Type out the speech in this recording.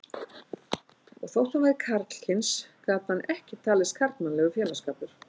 Og þótt hann væri karlkyns gat hann ekki talist karlmannlegur félagsskapur.